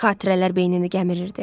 Xatirələr beynini gəmirirdi.